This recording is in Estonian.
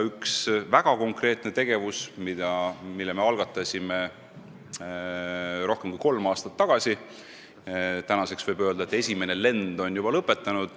Ühe väga konkreetse tegevuse me algatasime rohkem kui kolm aastat tagasi ja tänaseks võib öelda, et esimene lend on juba lõpetanud.